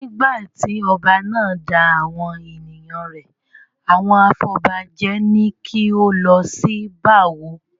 Nígbà tí ọba náà da awon ènìyàn rẹ̀ àwọn afọbajẹ ni kí ó lọ ṣí bá wó.